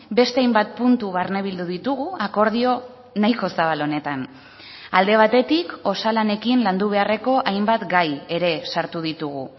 beste hainbat puntu barnebildu ditugu akordio nahiko zabal honetan alde batetik osalanekin landu beharreko hainbat gai ere sartu ditugu